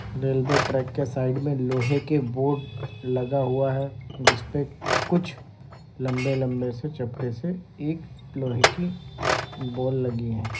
Railway track के side मे लोहे के बोर्ड लगा हुआ है जिसपे कुछ लंबे-लंबे से चपटे से एक लोहे की बॉल लगी है।